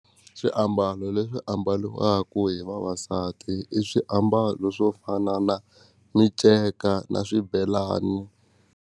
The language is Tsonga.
Xiambalo lexi ambariwaku hi vavasati i swiambalo swo fana na miceka na swibelani.